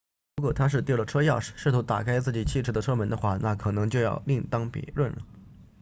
如果他是丢了车钥匙试图打开自己汽车的车门的话那可能就要另当别论了